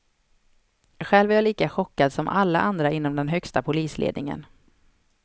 Själv är jag lika chockad som alla andra inom den högsta polisledningen.